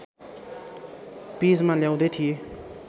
पेजमा ल्याउँदै थिएँ